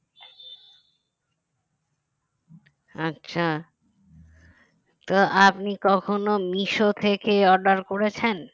আচ্ছা তো আপনি কখনো মিশো থেকে order করেছেন